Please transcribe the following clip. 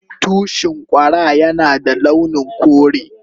Tushin Kwara Yana da launin kore.